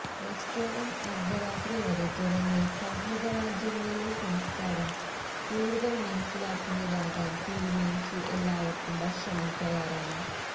restaurant അർദ്ധരാത്രി വരെ തുറന്ന് സൌഹൃദ രാജ്യങ്ങളിലെ സംസ്കാരം കൂടുതൽ മനസ്സിലാക്കുന്നത് ആകാൻ തീരുമാനിച്ചു എല്ലാവർക്കും ഭക്ഷണം തയ്യാറാണ്